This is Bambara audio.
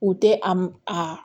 U tɛ a m a